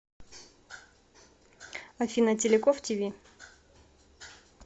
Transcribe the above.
афина теляков ти ви